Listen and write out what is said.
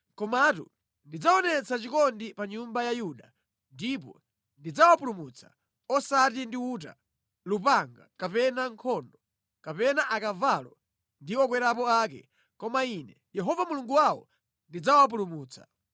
Komatu ndidzaonetsa chikondi pa nyumba ya Yuda; ndipo ndidzawapulumutsa, osati ndi uta, lupanga kapena nkhondo, kapena akavalo ndi okwerapo ake, koma ine Yehova Mulungu wawo ndidzawapulumutsa.”